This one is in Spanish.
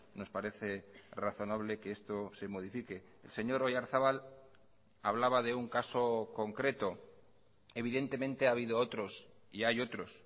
nos parece razonable que esto se modifique el señor oyarzabal hablaba de un caso concreto evidentemente ha habido otros y hay otros